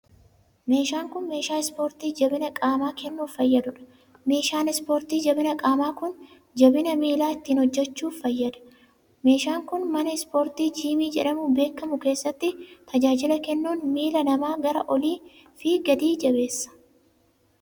Meeshaan kun, meeshaa ispoortii jabina qaamaa kennuuf fayyaduu dha. meeshaan ispoortii jabina qaamaa kun, jabina miilaa ittiin hojjachuuf fayyada. Meeshaan kun, mana ispoortii jiimii jedhamuun beekamu keessatti tajaajila kennuun, miila namaa gara olii fi gadii jabeessa.